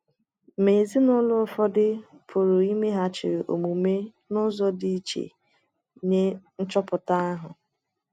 Ma ezinụlọ ụfọdụ pụrụ imeghachi omume n’ụzọ dị iche nye nchọpụta ahụ.